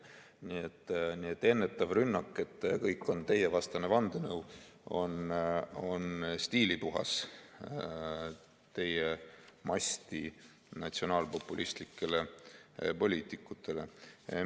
Nii et ennetav rünnak, et kõik on teievastane vandenõu, on teie masti natsionaalpopulistlike poliitikute puhul stiilipuhas.